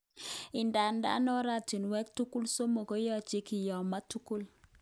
Idadan oratinwek tugul somok koyoche kiyomo tugul.